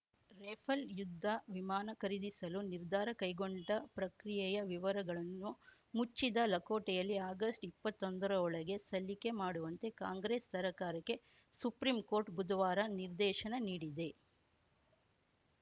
Rafale ಯುದ್ಧ ವಿಮಾನ ಖರೀದಿಸಲು ನಿರ್ಧಾರ ಕೈಗೊಂಡ ಪ್ರಕ್ರಿಯೆಯ ವಿವರಗಳನ್ನು ಮುಚ್ಚಿದ ಲಕೋಟೆಯಲ್ಲಿ ಆಗಸ್ಟ್ಇಪ್ಪತ್ತೊಂದರೊಳಗೆ ಸಲ್ಲಿಕೆ ಮಾಡುವಂತೆ ಕಾಂಗ್ರೆಸ್ ಸರ್ಕಾರಕ್ಕೆ ಸುಪ್ರೀಂಕೋರ್ಟ್‌ ಬುಧವಾರ ನಿರ್ದೇಶನ ನೀಡಿದೆ